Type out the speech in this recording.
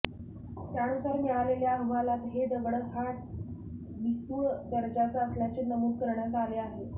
त्यानुसार मिळालेल्या अहवालात हे दगड हा ठिसूळ दर्जाचे असल्याचे नमूद करण्यात आले आहे